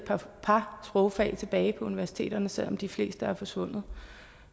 par sprogfag tilbage på universiteterne selv om de fleste er forsvundet